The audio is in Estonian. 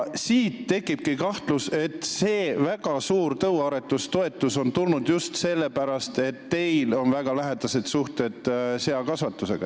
Siit tekibki kahtlus, et see väga suur tõuaretustoetus on tekkinud just sellepärast, et teil on väga lähedased suhted seakasvatusega.